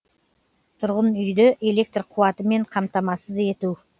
тұрғын үйрді электр қуатымен қамтамасыз ету